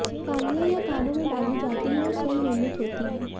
बालियां यह कानों में डाली जाती हैं और स्वर्ण निर्मित होती हैं